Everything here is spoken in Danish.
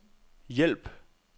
hjælp